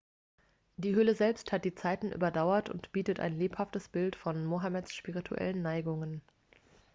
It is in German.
die höhle selbst hat die zeiten überdauert und bietet ein lebhaftes bild von mohammeds spirituellen neigungen